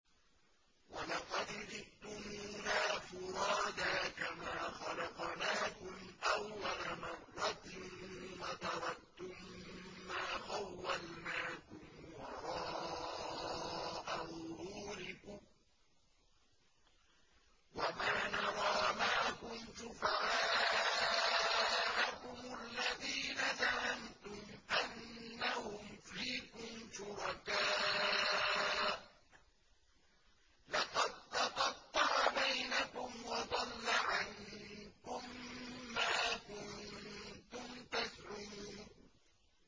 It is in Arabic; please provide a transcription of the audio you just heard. وَلَقَدْ جِئْتُمُونَا فُرَادَىٰ كَمَا خَلَقْنَاكُمْ أَوَّلَ مَرَّةٍ وَتَرَكْتُم مَّا خَوَّلْنَاكُمْ وَرَاءَ ظُهُورِكُمْ ۖ وَمَا نَرَىٰ مَعَكُمْ شُفَعَاءَكُمُ الَّذِينَ زَعَمْتُمْ أَنَّهُمْ فِيكُمْ شُرَكَاءُ ۚ لَقَد تَّقَطَّعَ بَيْنَكُمْ وَضَلَّ عَنكُم مَّا كُنتُمْ تَزْعُمُونَ